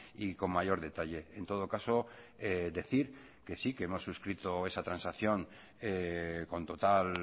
y con mayor detalle en todo caso decir que sí que hemos suscrito esa transacción con total